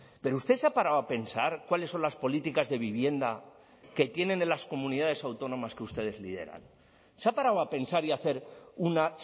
pero usted se ha parado a pensar cuáles son las políticas de vivienda que tienen en las comunidades autónomas que ustedes lideran se ha parado a pensar y a hacer una